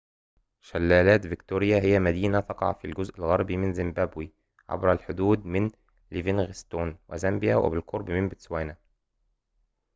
شلالات فيكتوريا هي مدينة تقع في الجزء الغربي من زيمبابوي عبر الحدود من ليفينغستون وزامبيا وبالقرب من بوتسوانا